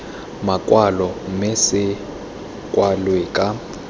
makwalo mme se kwalwe ka